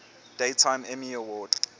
daytime emmy award